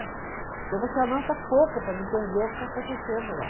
Então, você anota pouco para não perder o que está acontecendo lá.